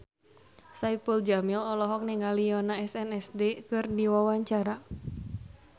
Saipul Jamil olohok ningali Yoona SNSD keur diwawancara